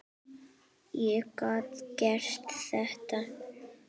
Ég gat gert þetta.